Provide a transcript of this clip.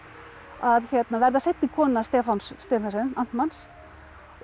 að verða seinni kona Stefáns Stephensen amtmanns og